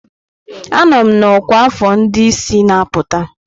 Anọ m na ọkwa afọ ndị isi na-apụta.